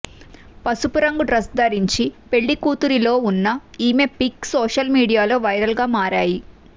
పసుపు రంగు డ్రెస్ ధరించి పెళ్లి కూతురిలో ఉన్న ఈమె పిక్స్ సోషల్ మీడియాలో వైరల్ గా మారాయి